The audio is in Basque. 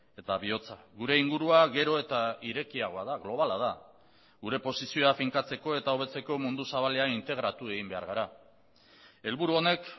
eta bihotza gure ingurua gero eta irekiagoa da globala da gure posizioa finkatzeko eta hobetzeko mundu zabalean integratu egin behar gara helburu honek